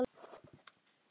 Tæki og áhöld